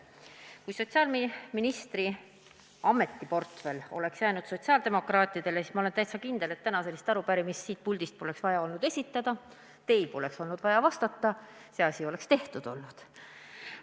Kui sotsiaalministri ametiportfell oleks jäänud sotsiaaldemokraatidele, siis – ma olen täitsa kindel – ei oleks olnud vaja täna sellist arupärimist siit puldist esitada ja teil poleks olnud vaja vastata, sest see asi oleks olnud tehtud.